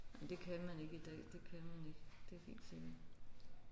Men det kan man ikke i dag det kan man ikke det er helt sikkert